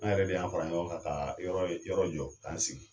An yɛrɛ de y'an fara ɲɔgɔn kan ka yɔrɔ yɔrɔ jɔ k'an sigi.